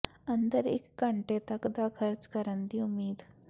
ਅੰਦਰ ਇਕ ਘੰਟੇ ਤੱਕ ਦਾ ਖਰਚ ਕਰਨ ਦੀ ਉਮੀਦ